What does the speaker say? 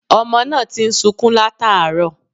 Ọmọ náà ti ń sukún làtàárọ̀